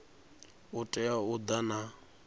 u tea u ḓa na